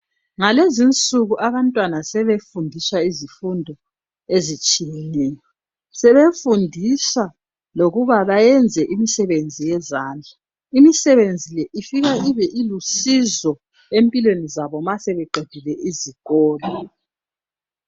Ngalezinsuku abantwana sebefundiswa izifundo ezitshiyeneyo. Sebefundiswa lokuba bayenze imisebenzi yezandla. imisebenzi le ifika ibe ilusizo empilweni zabo ma sebeqedile izikolo.